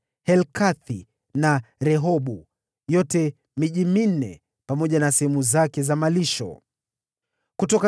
Helkathi na Rehobu, pamoja na sehemu zake za malisho, ilikuwa miji minne.